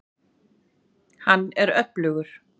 Hann er öflugur.